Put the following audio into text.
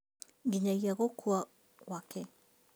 Nginyagia gũkua gwake